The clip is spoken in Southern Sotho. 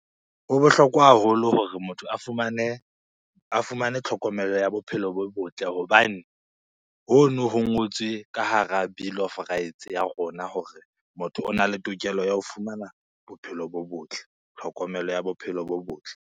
Ho bohlokwa haholo hore motho a fumane tlhokomelo ya bophelo bo botle hobane hono ho ngotswe ka hara bill of rights ya rona hore motho ona le tokelo ya ho fumana bophelo bo botle, tlhokomelo ya bophelo bo botle.